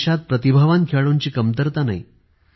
देशात प्रतिभावान खेळाडूंची कमतरता नाही